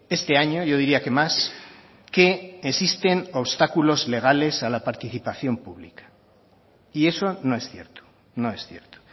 este año yo diría que más que existen obstáculos legales a la participación pública y eso no es cierto no es cierto